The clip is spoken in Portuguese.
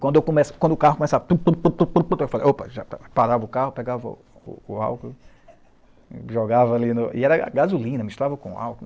Quando eu começa, quando o carro começava a... Eu falavam, opa, já parava o carro, pegava o o álcool, jogava ali, e era gasolina, misturava com álcool.